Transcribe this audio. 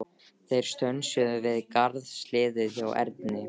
Þeir stönsuðu við garðshliðið hjá Erni.